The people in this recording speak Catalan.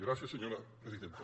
gràcies senyora presidenta